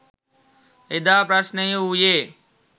එදා ප්‍රශ්නය වූයේ